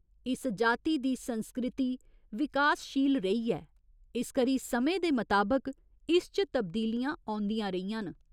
इस जाति दी संस्कृति विकासशील रेही ऐ इस करी समें दे मताबक इस च तब्दीलियां औंदियां रेहियां न।